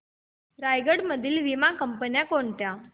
रायगड मधील वीमा कंपन्या कोणत्या